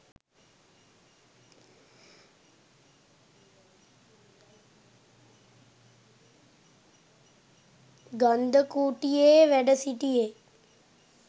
ගන්ධකුටියේ වැඩ සිටියේ.